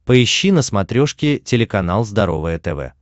поищи на смотрешке телеканал здоровое тв